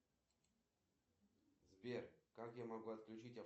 афина какая официальная валюта в тайланде